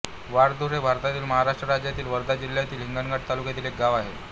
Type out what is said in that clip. वाळधुर हे भारतातील महाराष्ट्र राज्यातील वर्धा जिल्ह्यातील हिंगणघाट तालुक्यातील एक गाव आहे